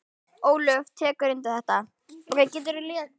Ólöf tekur undir þetta.